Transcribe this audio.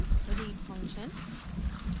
read function